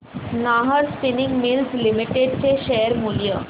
Nahar spinning mills limited चे share मूल्य